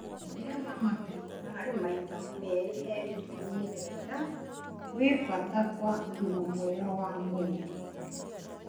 Rĩa thamaki narĩ maita merĩ he thikũ mũgwaja gwĩ bata kwa ũgima mwega wa ngoro